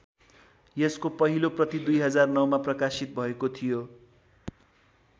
यसको पहिलो प्रति २००९ मा प्रकाशित भएको थियो।